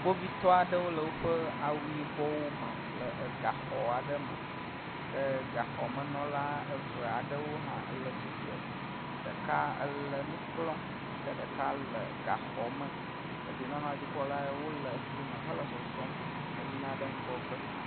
Kpovitɔ aɖewo le woƒe awu yibɔwo me le egaxɔ aɖe me ke gaxɔmenɔla eve aɖewo hã ele atsi tre. Ɖeka ele nu kplɔm ke ɖeka le gaxɔme. Dedienɔnɔdzikpɔla wole fli me hele zɔzɔm eyina ɖe eŋgɔgbe